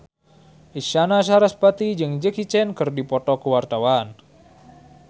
Isyana Sarasvati jeung Jackie Chan keur dipoto ku wartawan